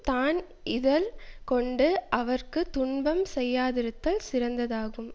தான் இகழ் கொண்டு அவர்க்கு துன்பம் செய்யாதிருத்தல் சிறந்ததாகும்